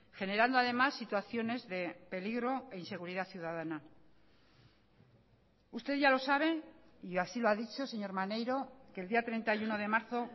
generando además situaciones de peligro e inseguridad ciudadana usted ya lo sabe y así lo ha dicho señor maneiro que el día treinta y uno de marzo